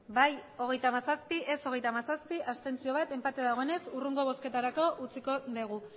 bai hogeita hamazazpi ez hogeita hamazazpi abstentzioak bat enpate dagoenez hurrengo bozketarako utziko dugu